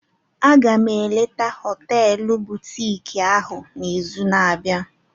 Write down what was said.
M ga-eleta họteelu butiiki ahụ n'izu na-abịa.